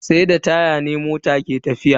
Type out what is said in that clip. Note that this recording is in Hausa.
Sai da taya ne mota ke tafiya.